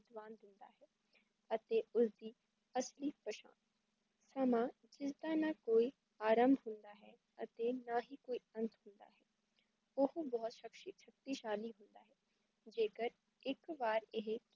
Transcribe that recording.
ਅਤੇ ਉਸ ਦੀ ਅਸਲੀ ਪਛਾਣ ਸਮਾਂ ਜਿਸਦਾ ਨਾ ਕੋਈ ਆਰਮ੍ਭ ਹੋਆ ਹੈ ਅਤੇ ਨਾ ਹੀ ਕੋਈ ਅੰਤ ਓਹੋ ਬਹੁਤ ਸਬਹਤੋਂ ਸ਼ਕਤੀਸ਼ਾਲੀ ਜੇ ਕਰ ਇੱਕ ਵਾਰ ਏਹੇ